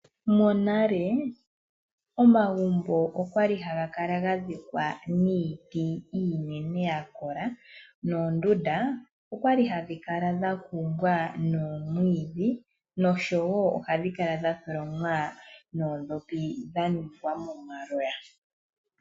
Monale omagumbo okwali haga kala ga dhikwa niiti iinene ya kola noondunda okwali hadhi kala dha kumbwa nomwiidhi oshowo ohadhi kala dha tholomwa noondhopi dha ningwa momaloya.